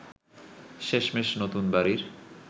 শেষমেশ নতুন বাড়ীর